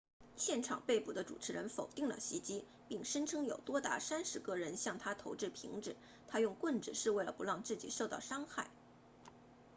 现场被捕的主持人否定了袭击并声称有多达三十个人向他投掷瓶子他用棍子是为了不让自己受到伤害